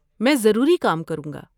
میں ضروری کام کروں گا۔